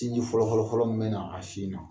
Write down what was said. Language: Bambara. Sinji fɔlɔ fɔlɔ fɔlɔ mun bɛna a sin na